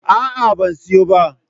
A'a, ban siyo ba.